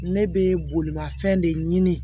Ne bɛ bolimafɛn de ɲini